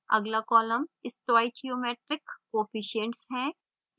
अगला column stoichiometric coefficients है